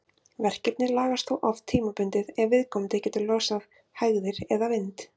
Verkirnir lagast þó oft tímabundið ef viðkomandi getur losað hægðir eða vind.